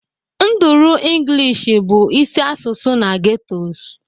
Nduru English bụ isi asụsụ na ghettos